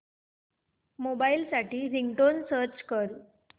mobile साठी ringtone search कर